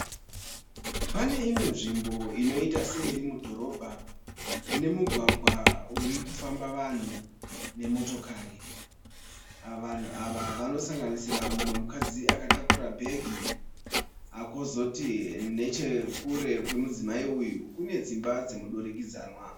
Pane imwe nzvimbo inoita seiri mudhorobha. Ine mugwagwa urikufamba vanhu nemotokari. Ava Vanhu ava vanosanganisira mumwe mukadzi akatakura bhegi . Kozoti Nechekure kwemudzimai uyu , kune dzimba dzemudurikidzanwa.